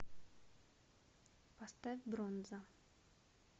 поставь бронза